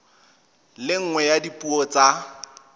le nngwe ya dipuo tsa